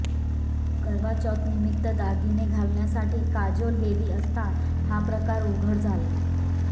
करवाचौथ निमित्त दागिने घालण्यासाठी काजोल गेली असता हा प्रकार उघड झाला